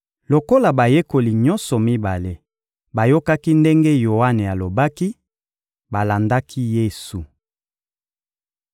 Lokola bayekoli nyonso mibale bayokaki ndenge Yoane alobaki, balandaki Yesu.